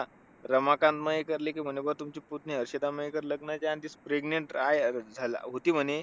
रमाकांत मयेकर म्हणले कि बा तुमची पुतणी, हर्षदा मयेकर लग्नाचा आधीच pregnant आहे झाली होती म्हणे.